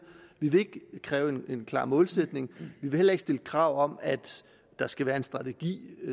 vi vil ikke kræve en klar målsætning vi vil heller ikke stille krav om at der skal være en strategi